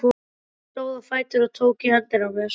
Hann stóð á fætur og tók í höndina á mér.